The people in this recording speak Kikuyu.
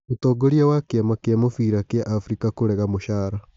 Mũtongoria wa kĩ ama kĩ a mũbira gĩ a Afrika kũrega mũcara.